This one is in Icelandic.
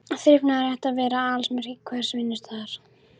Þrifnaður ætti að vera aðalsmerki hvers vinnustaðar.